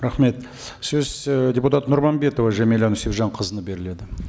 рахмет сөз і депутат нұрманбетова жәмилә нүсіпжанқызына беріледі